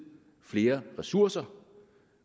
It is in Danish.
flere ressourcer